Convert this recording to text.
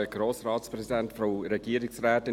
Er zieht sie auch mit Erklärung zurück.